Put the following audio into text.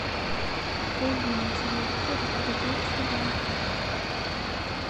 вруби на телевизоре передачу ю